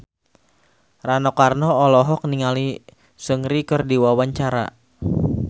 Rano Karno olohok ningali Seungri keur diwawancara